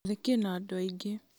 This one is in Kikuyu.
gĩathĩ kĩna andũ aingĩ